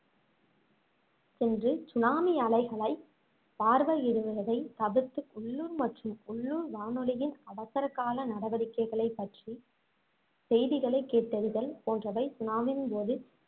சென்று சுனாமி அலைகளைப் பார்வையிடுவதை தவிர்த்து உள்ளூர் மற்றும் உள்ளூர் வானொலியின் அவசர கால நடவடிக்கைகள் பற்றி செய்திகளைக் கேட்டறிதல் போன்றவை சுனாமியின் போது